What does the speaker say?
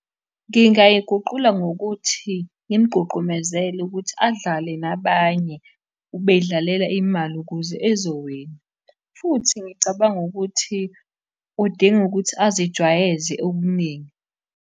Ngingayiguqula ngokuthi, ngimugqugqumezele ukuthi adlale nabanye, bedlalela imali ukuze ezowina, futhi ngicabanga ukuthi udinga ukuthi azijwayeze okuningi.